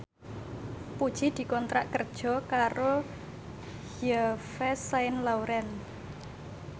Puji dikontrak kerja karo Yves Saint Laurent